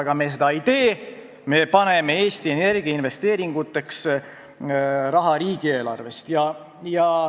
Aga seda me ei tee, me eraldame Eesti Energia investeeringuteks raha riigieelarvest.